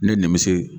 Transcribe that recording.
Ne nimisi